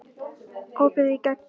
Opið í gegn